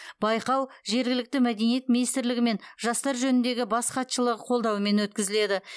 байқау жергілікті мәдениет министрлігі мен жастар жөніндегі бас хатшылығы қолдауымен өткізіледі